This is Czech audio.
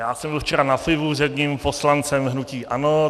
Já jsem byl včera na pivu s jedním poslancem hnutí ANO.